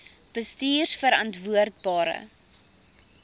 bestuurverantwoordbare